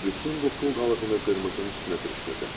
Bütün bu pul qalığını qırmızının üstünə sürüşdürdüm.